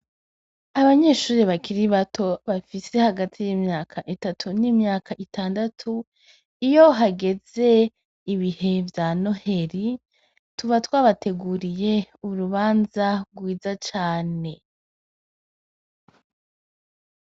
Abanyeshuri bakiri bato, bafise hagati y'imyaka itatu n'imyaka itandatu, iyo hageze ibihe vya Noheli , tuba twabateguriye urubanza rwiza cane.